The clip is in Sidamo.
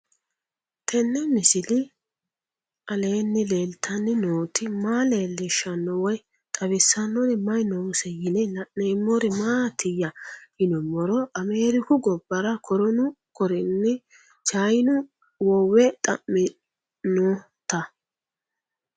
Tenni misile aleenni leelittanni nootti maa leelishshanno woy xawisannori may noosse yinne la'neemmori maattiya yinummoro ameeriku gobbara kornu korinni chayiinnu wowe xa'minnotta